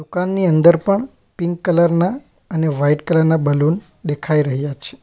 દુકાનની અંદર પણ પિંક કલર ના અને વાઈટ કલર ના બલૂન દેખાઈ રહ્યા છે.